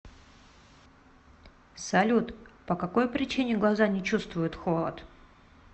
салют по какой причине глаза не чувствуют холод